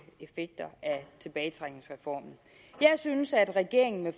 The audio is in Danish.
effekter af tilbagetrækningsreformen jeg synes at regeringen med